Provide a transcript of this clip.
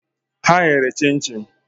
Ha ghere chinchin